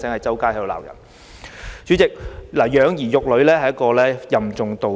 主席，養兒育女任重道遠。